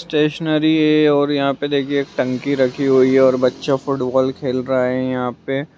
Stationery है और यहाँ पे देखिये एक टंकी रखी हुई है और बच्चा फुटबाल खेल रहा है यहाँ पे।